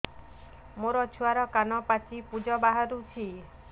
ମୋ ଛୁଆର କାନ ପାଚି ପୁଜ ବାହାରୁଛି